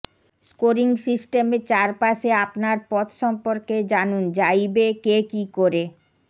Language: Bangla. স্কোরিং সিস্টেমের চারপাশে আপনার পথ সম্পর্কে জানুন যা ইবেকে কী করে